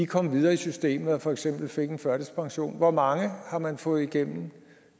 kom videre i systemet og for eksempel fik en førtidspension hvor mange har man fået igennem